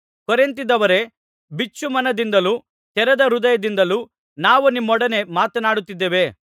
ಕೊರಿಂಥದವರೇ ಬಿಚ್ಚುಮನದಿಂದಲೂ ತೆರೆದ ಹೃದಯದಿಂದಲೂ ನಾವು ನಿಮ್ಮೊಡನೆ ಮಾತನಾಡಿದ್ದೇವೆ